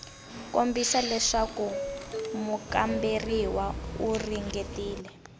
kombisa leswaku mukamberiwa u ringetile